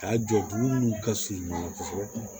K'a jɔ dugu nunnu ka surun ɲɔgɔn na kosɛbɛ